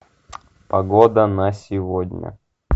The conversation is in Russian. погода на сегодня